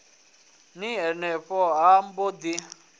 ni henefho ha mbo ḓi